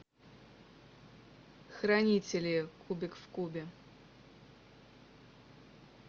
хранители кубик в кубе